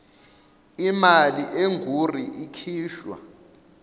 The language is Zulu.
imali engur ikhishwa